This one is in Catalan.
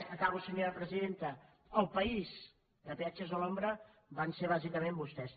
acabo senyora presidenta el país de peatges a l’ombra van ser bàsicament vostès